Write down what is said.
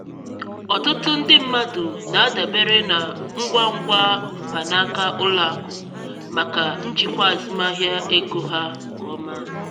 ọtụtụ ndị mmadụ na-adabere na ngwa ngwa mkpanaka ụlọakụ maka njikwa azụmahịa ego ha nke ọma.